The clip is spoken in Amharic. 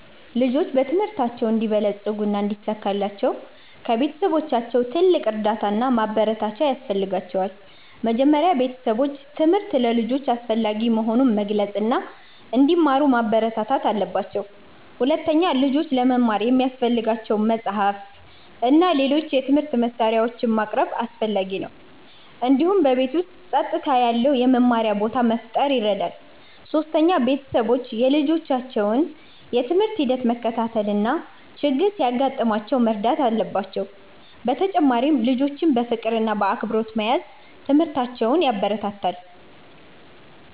ልጆች በትምህርታቸው እንዲበለጽጉ እና እንዲሳካላቸው ከቤተሰቦቻቸው ትልቅ እርዳታ እና ማበረታቻ ያስፈልጋቸዋል። መጀመሪያ ቤተሰቦች ትምህርት ለልጆች አስፈላጊ መሆኑን መግለጽ እና እንዲማሩ ማበረታታት አለባቸው። ሁለተኛ፣ ልጆች ለመማር የሚያስፈልጋቸውን መጻሕፍት እና ሌሎች የትምህርት መሳሪያዎች ማቅረብ አስፈላጊ ነው። እንዲሁም በቤት ውስጥ ጸጥታ ያለው የመማሪያ ቦታ መፍጠር ይረዳል። ሶስተኛ፣ ቤተሰቦች የልጆቻቸውን የትምህርት ሂደት መከታተል እና ችግር ሲያጋጥማቸው መርዳት አለባቸው። በተጨማሪም ልጆችን በፍቅር እና በአክብሮት መያዝ ትምህርታቸውን ያበረታታል።